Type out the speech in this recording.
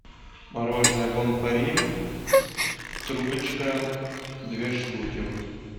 мороженое бон пари трубочка две штуки